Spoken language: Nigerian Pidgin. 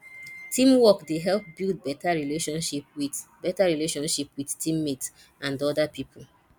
teamwork dey help build better relationship with better relationship with team mates and other people